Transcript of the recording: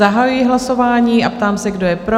Zahajuji hlasování a ptám se, kdo je pro?